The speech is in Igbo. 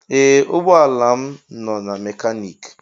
Ee ụgbọ ala m nọ na mekaniki.